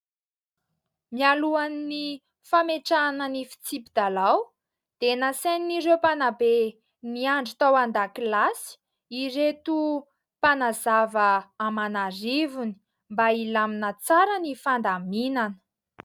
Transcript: Mialohan'ny fametrahana ny fitsipi-dalao dia nasain'ireo mpanabe miandry tao an-dakilasy ireto mpanazava aman'arivony mba hilamina tsara ny fandaminana.